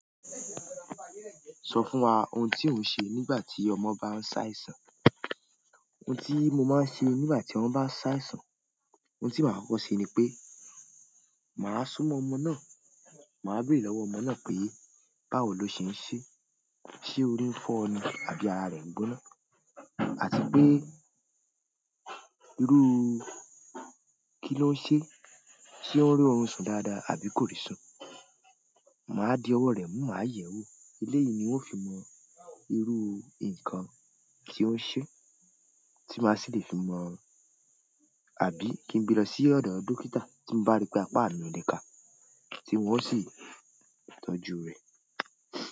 Sọ fún wa ohun tí ò ń sẹ nígbà tí ọmọ bá ń ṣàìsàn. Ohun tí mo máa ń ṣe nígbà tí ọmọ bá n ṣàìsàn, ohun tí màá kọ́kọ́ ṣe ni pé màá súnmọ́ ọmọ náà, màá bèrè lọ́wọ́ ọmọ náà pé báwo lo ṣe ń ṣe? Ṣé orí ń fọ́ ni àbí ara rẹ̀ ń gbóná? Àti pé irúu kí ló ń sẹ? Ṣé ọ rí ọrùn sùn dáadáa àbí kò rí sùn? Màá di ọwọ́ rẹ̀ mú, màá yẹ̀wò. Eléyìí ni ó fi mọ̀ irú nǹkan tí ó ń sẹ tí màá sì lè fi mọ àbí kí n gbe lọ sí ọ̀dọ̀ dókítà tí mo bá rí pé apá mi oló káà tí wọ́n sì tọ́jú rẹ̀.